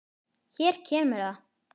Hér kemur það.